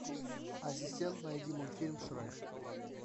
ассистент найди мультфильм шрек